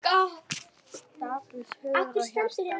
Daprast hugur og hjarta.